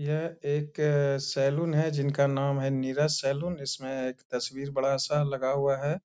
यह एक अ सैलून है जिनका नाम है नीरज सैलून । इसमें एक तस्वीर बड़ा सा लगा हुआ है